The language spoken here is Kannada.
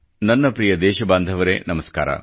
ನನ್ನ ಪ್ರಿಯ ದೇಶ ಬಾಂಧವರೇ ನಮಸ್ಕಾರ